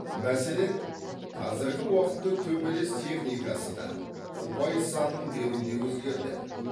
мәселен қазіргі уақытта төбелес техникасы да ұпай санын беру де өзгерді